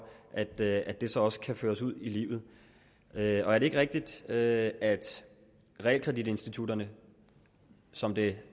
at det at det så også kan føres ud i livet er er det ikke rigtigt at at realkreditinstitutterne som det